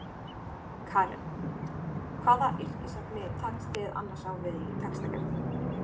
Karen: Hvaða yrkisefni takist þið annars á við í textagerð?